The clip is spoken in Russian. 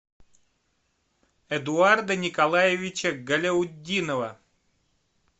эдуарда николаевича галяутдинова